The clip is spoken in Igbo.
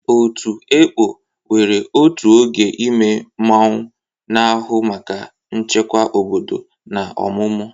Otu "Ekpo" nwere otu oge ime mmụọ, na-ahụ maka nchekwa obodo na ọmụmụ.